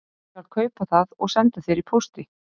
Ég skal kaupa það og senda þér í pósti